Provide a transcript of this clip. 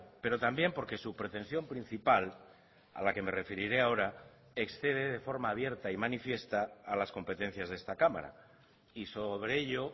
pero también porque su pretensión principal a la que me referiré ahora excede de forma abierta y manifiesta a las competencias de esta cámara y sobre ello